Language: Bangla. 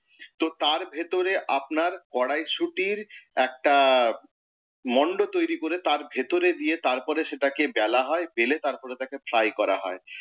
তো তার ভেতরে আপনার কড়াইশুঁটির একটা মণ্ড তৈরি করে তার ভেতরে দিয়ে তারপর সেটাকে বেলা হয়, বেলে তারপর তাকে ফ্রাই করা হয়।